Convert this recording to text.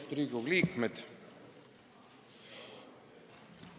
Austatud Riigikogu liikmed!